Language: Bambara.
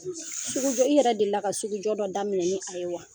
Sugujɔ i yɛrɛ delila ka sugujɔ dɔ daminɛ ne fe ye wa?